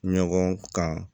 Ɲɔgɔn kan